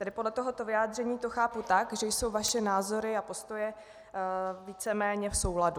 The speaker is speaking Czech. Tedy podle tohoto vyjádření to chápu tak, že jsou vaše názory a postoje víceméně v souladu.